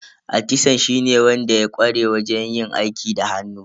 Atisan shine wanda ya ƙware wajen yin aiki da hannu.